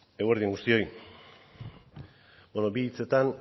zurea da hitza eguerdi on guztioi bi hitzetan